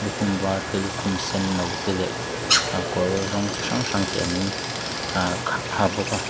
lukhum vâr te lukhum sen no te leh ah kawr rawng chi hrang hrang te an ahh ha bawk a.